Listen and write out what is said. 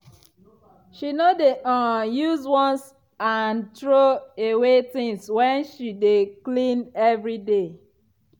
she no dey um use once-and-throw-away things when she dey clean every day.